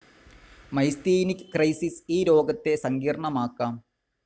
Myasthenic crisis ഈ രോഗത്തെ സങ്കീർണമാക്കാം.